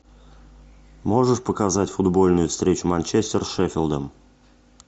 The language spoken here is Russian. можешь показать футбольную встречу манчестер с шеффилдом